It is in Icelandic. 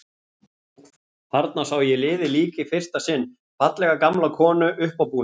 Þarna sá ég liðið lík í fyrsta sinn, fallega gamla konu, uppábúna.